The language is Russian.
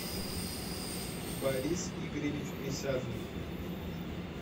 борис игоревич присяжный